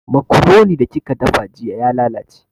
Makuroni da kika dafa jiya ya lalace